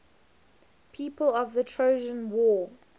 people of the trojan war